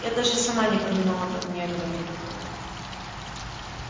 я даже сама не понимала как мне этого не хватало